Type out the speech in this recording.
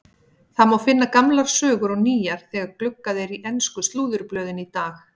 Það má finna gamlar sögur og nýjar þegar gluggað er í ensku slúðurblöðin í dag.